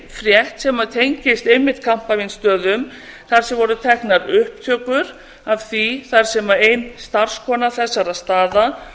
frétt sem tengist einmitt kampavínsstöðum þar sem voru teknar upptökur af því þar sem ein starfskona þessara staða